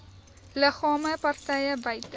liggame partye buite